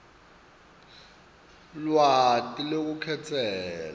lwati lwelukhetselo